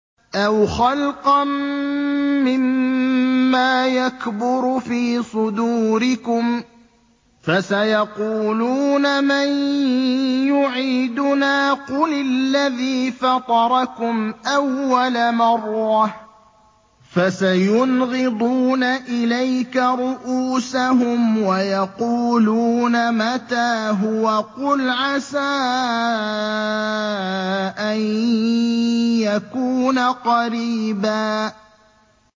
أَوْ خَلْقًا مِّمَّا يَكْبُرُ فِي صُدُورِكُمْ ۚ فَسَيَقُولُونَ مَن يُعِيدُنَا ۖ قُلِ الَّذِي فَطَرَكُمْ أَوَّلَ مَرَّةٍ ۚ فَسَيُنْغِضُونَ إِلَيْكَ رُءُوسَهُمْ وَيَقُولُونَ مَتَىٰ هُوَ ۖ قُلْ عَسَىٰ أَن يَكُونَ قَرِيبًا